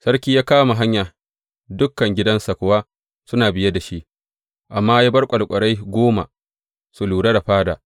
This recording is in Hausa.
Sarki ya kama hanya, dukan gidansa kuwa suna biye da shi; amma ya bar ƙwarƙwarai goma su lura da fada.